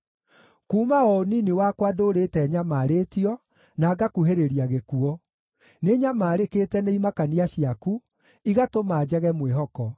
Kuuma o ũnini wakwa ndũũrĩte nyamarĩtio na ngakuhĩrĩria gĩkuũ; nĩnyamaarĩkĩte nĩ imakania ciaku, igatũma njage mwĩhoko.